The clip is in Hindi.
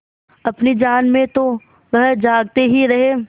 अपनी जान में तो वह जागते ही रहे